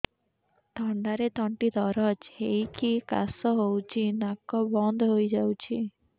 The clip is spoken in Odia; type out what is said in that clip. ଥଣ୍ଡାରେ ତଣ୍ଟି ଦରଜ ହେଇକି କାଶ ହଉଚି ନାକ ବନ୍ଦ ହୋଇଯାଉଛି